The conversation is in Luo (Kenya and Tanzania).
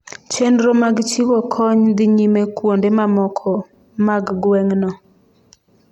chenro mag chiwo kony dhi nyime kuonde mamoko mag gweng'no